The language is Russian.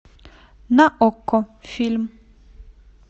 на окко фильм